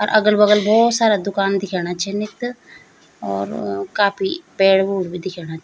अर अगल-बगल बहौत सारा दुकान दिखेणा छिन यख्त और काफी पेड़-उड़ भी दिखेणा।